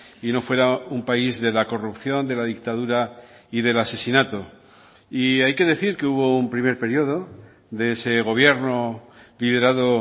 y no fuera un país de la corrupción de la dictadura y del asesinato y hay que decir que hubo un primer periodo de ese gobierno liderado